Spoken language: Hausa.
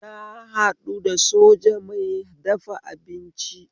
Na haɗu da soja mai dafa abinci